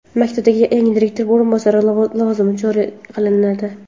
Maktablarda yangi direktor o‘rinbosari lavozimi joriy qilinadi.